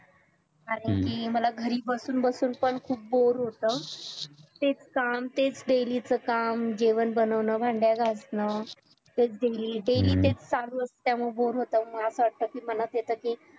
आणखी मला घरी बसून बसून पण boar होत तेच काम तेच daily च काम जेवण बनवणं भांड्या घासणं तेच daily daily तेच चालू असत त्यामुळे boar होत मग असं वाटत कि मनात येत कि